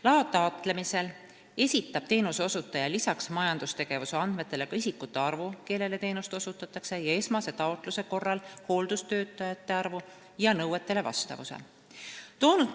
Loa taotlemisel esitab teenuseosutaja lisaks majandustegevuse andmetele ka isikute arvu, kellele teenust osutatakse, ning esmase taotluse korral hooldustöötajate arvu ja nõuetele vastavuse.